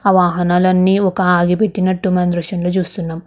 ఆ వాహనాలన్నీ ఒక ఆగిపెట్టినట్టు మనం ఈ దృశ్యం లో చూస్తున్నాం.